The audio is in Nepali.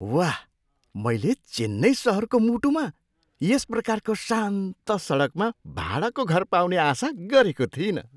वाह! मैले चेन्नई सहरको मुटुमा यस प्रकारको शान्त सडकमा भाडाको घर पाउने आशा गरेको थिइनँ।